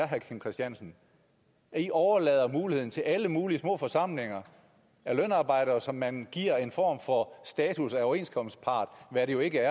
herre kim christiansen at i overlader muligheden til alle mulige små forsamlinger af lønarbejdere som man giver en form for status af overenskomstpart hvad de jo ikke